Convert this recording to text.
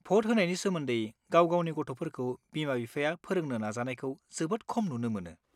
भट होनायनि सोमोन्दै गाव-गावनि गथ'फोरखौ बिमा-बिफाया फोरोंनो नाजानायखौ जोबोद खम नुनो मोनो।